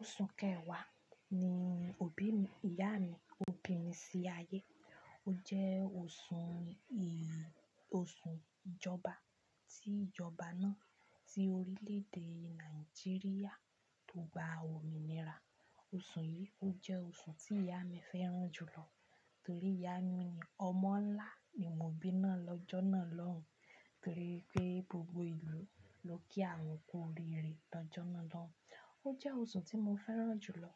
Oṣù Kẹ̀wá ni òbí ìyá mi ó bí mi sí ayé. Ó jẹ́ oṣù ì, oṣù ìjọba ti ìjọba náà, tí orílè-èdè Nàìjíríà tó gba ominira. Oṣù yìí ó jẹ́ oṣù tí ìyá mi fẹ́ràn jù lọ torí ìyá mi ni ọmọ ńlá ni mo bí náà lọ́jọ́ náà lọ́hùn. Torí pé gbogbo ìlú ló kí àwọn kú oríire lọ́jọ́ náà lọ́hùn. Ó jẹ́ oṣù tí mo fẹ́ràn jù lọ.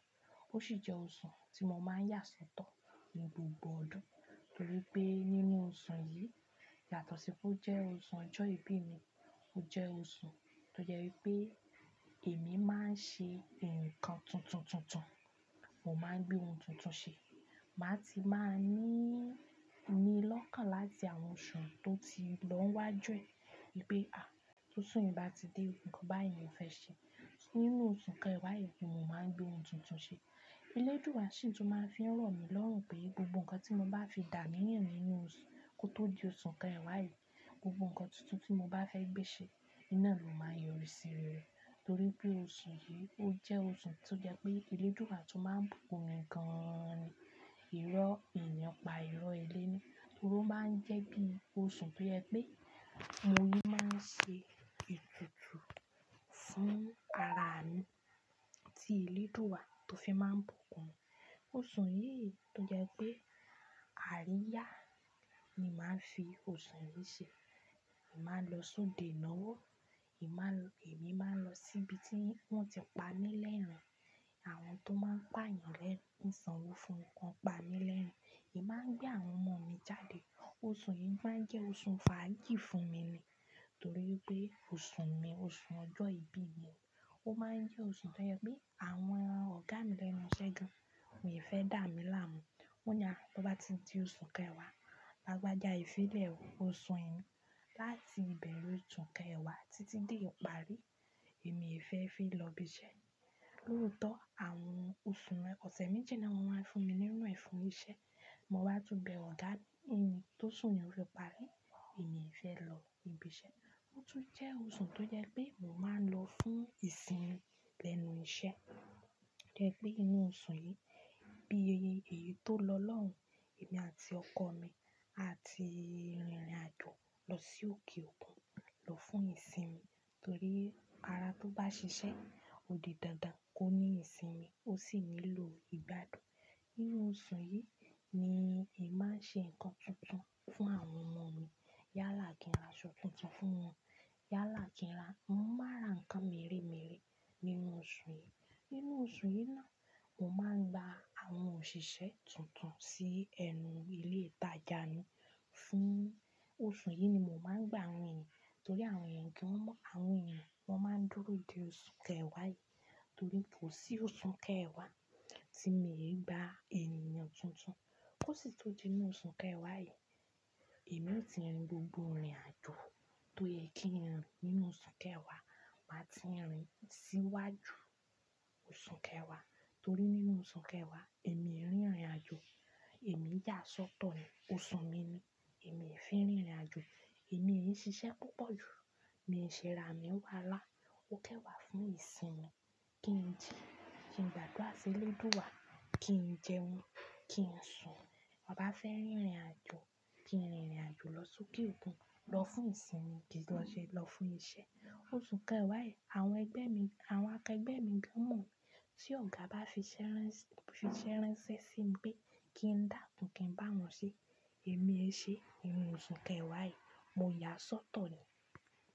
Ó sì jẹ́ oṣù tí mo máa ń yà sọ́tọ̀ ní gbogbo ọdún. Torí pé nínú oṣù yìí, yàtọ̀ sí pé ó jẹ́ oṣù ọjọ́ ìbí mi, ó jẹ́ oṣù tó jẹ́ pé èmi máa ń ṣe ǹkan tuntun tuntun. Mo máa ń gbé ohun tuntun ṣe. Màá ti máa ní ni lọ́kàn láti àwọn oṣù tó ti lọ wájú ẹ. Pé a, t'osu i bá ti dé o, ǹkan báyìí mo fẹ́ ṣe. Nínú oṣù Kẹ̀wá yìí ni mo máa ń gbé ohun tuntun ṣe. Elédùwà sì tún máa ń fi rọ̀ mí lọ́rùn pé gbogbo ǹkan tí mo bá fi dà aniyàn nínú oṣù kó tó di oṣù Kẹ̀wá yìí, gbogbo ǹkan tuntun tí mo bá fẹ́ gbé ṣe, in ná ló máa n yọrí sí rẹ̀. Torí pé oṣù yìí ó jẹ́ oṣù tó jẹ́ pé elédùà tún máa ń bùkún mi gan an ni. Irọ́ èèyàn pa irọ́ éleni. Torí ó máa ń jẹ́ bí i oṣù tó jẹ́ pé mo ní máa ń ṣe ètùtù fún ara mi tí elédùwà tó fi máa ń bùkún mi. Oṣù yìí tó jẹ́ pé àríyá ni màá fi oṣù yìí ṣe. Èmi máa lọ sóde ináwó. Èmi má, èmi máa lọ sí ibi tí wọ́n ti pa mí lerin-in. Àwọn tó máa ń pa èèyàn lẹ́rin, ín sanwó fúnwon kan pa mí lẹ́rin-in. Èmi máa gbé àwọn ọmọ mi jáde. Oṣù yìí máa ń jẹ́ oṣù fàájì fún mi ni. Torí ipé oṣù mi, oṣù ọjọ́ ìbí mi, ó máa ń jẹ́ oṣù tó jẹ́ pé àwọn ọ̀gá mi lẹ́nu iṣẹ́ gan-an, won e fẹ́ dàmí láàmú. Wọ́n ni à á tó bá ti di oṣù Kẹ̀wá, lágbàjá ì filẹ̀ oṣù e ni láti ìbẹ̀rẹ̀ oṣù Kẹ̀wá títí dé ìparí, èmi e fẹ́ fi lọ ibi iṣẹ́. Lóotọ́ àwọn oṣù mẹ́, ọ̀sẹ̀ méjì naa ni wọ́n máa ń fún mi nínú ẹ fun iṣẹ́, mo wá tún bẹ ọ̀gá mi pé t'ósù yen o fí parí, èmi e fẹ́ lọ ibi iṣẹ́. Ó tún jẹ́ oṣù tó jẹ́ pé mo máa ń lọ fún ìsinmi lẹ́nu iṣẹ́. Ó jẹ́ pé inú oṣù yìí bí èyí tó lọ lọ́hùn, èmi àti ọkọ mi àti rinrìnàjò lọ sí òkè òkun lọ fún ìsinmi. Torí ara tó bá ṣiṣẹ́ òdi dandan kó ní ìsinmi, ó sì nílò ìgbádùn. Nínú oṣù yìí ni èmi máa ń ṣe ǹkan tuntun fún àwọn ọmọ mi. Yálà kí n ra aṣọ tuntun fún wọn. Yálà kí n ra mọ́mà ǹ ra nkan méremère nínú oṣù yìí. Nínú oṣù yìí náà, mo máa ń gba àwọn òṣìṣẹ́ tuntun sí ẹnu ilé ìtajà mi. Fún oṣù yìí ni mo máa ń gba àwọn èèyàn torí àwọn èèyàn gan mọ̀, àwọn èèyàn wọ́n máa ń dúró de oṣù Kẹ̀wá yìí. Torí kó sí oṣù Kẹ̀wá tí mi e gba èèyàn tuntun, kó sì tó di nínú oṣù Kẹ̀wá yìí, èmi ò ti rin gbogbo ìrìnàjò tó yẹ kí ń rìn nínú oṣù Kẹ̀wá, màá ti rin síwájú oṣù Kẹ̀wá. Torí nínú oṣù Kẹ̀wá, èmi e rìn ìrìnàjò, èmi yà sọ́tọ̀ ni. Oṣù mi ni, èmi e fẹ́ rìn ìrìnàjò. Èmi e ṣiṣẹ́ púpọ̀ jù. Mi e ṣe ra mí wá lá. Ó kanwàá fún ìsinmi. Kí n ji, kí n gbádùà s'elédùwà, kí n jẹun, kí n sùn. Mo bá fẹ́ rìn ìrìnàjò, kí n rìn ìrìnàjò lọ sókè òkun lọ fún ìsinmi, kí lọ ṣe lọ fún iṣẹ́. Oṣù Kẹ̀wá yìí àwọn ẹgbẹ́ mi, àwọn akẹgbẹ́ mi gan mọ̀. Tí ọ̀gá bá fi ṣẹ́ránṣẹ́, fi ṣẹ́ránṣẹ́ sí mi pé kí n dàkún kí n báwọn ṣe, èmi ẹ ṣe, inú oṣù Kẹ̀wá yìí mo yà sọ́tọ̀ ni.